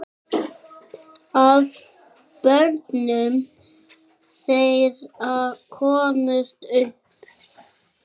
Af börnum þeirra komust upp